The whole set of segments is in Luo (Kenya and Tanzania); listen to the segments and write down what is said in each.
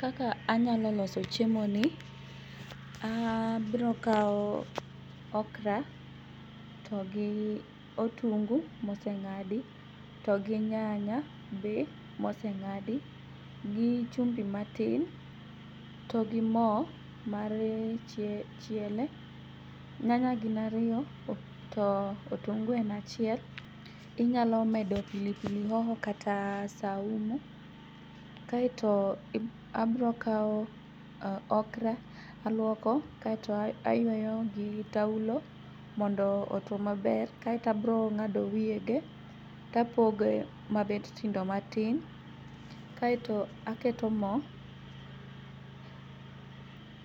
Kaka anyalo loso chiemoni, abrokao okra to gi otungu mose ng'adi to gi nyanya be moseng'adi gi chumbi matin to gi moo mar chiele. Nyanya gin ariyo to otungu en achiel inyalo medo pilipili hoho kata saumu kaeto abrokao okra aluoko aeto ayueyo gi taulo mondo otuo maber kaeto abrong'ado wiyege tapoge mabet tindo matin, kae to aketo moo.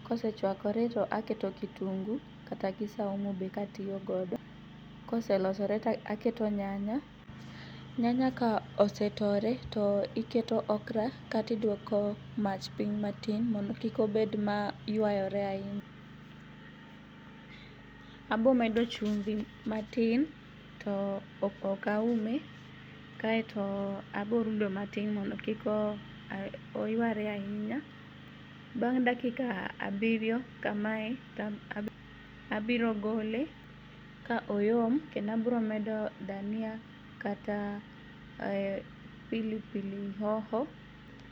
Kosechwakore to aketo kitungu kata gi saumu be katiyogodo. Koselosore taketo nyanya. Nyanya ka osetore to iketo okra kata iduoko mach piny matin mondo kik obed mayuayore ainya. Abomedo chumbi matin to okaume kae to aborudo matin mondo kik oyuare ainya. Bang' dakika abirio kamae tabirogole ka oyom kendo abromedo dania kata pilipili hoho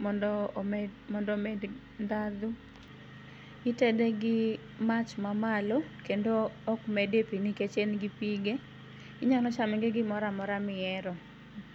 mondo omed ndhadhu. Itede gi mach mamalo kendo okmede pii nikech engi pige. Inyalo chame gi gimoramora miero.